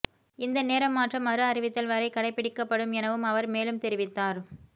இந்த நேரமாற்றம் மறு அறிவித்தல் வரை கடைப்பிடிக்கப்படும் எனவும் அவர் மேலும் தெரிவித்தார்